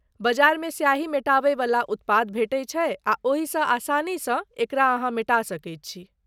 बजारमे स्याही मेटाबै वला उत्पाद भेटै छै आ ओहिसँ आसानीसँ एकरा अहाँ मेटा सकैत छी।